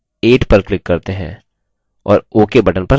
और ok button पर click करते हैं